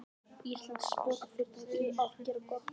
Íslenskt sprotafyrirtæki að gera það gott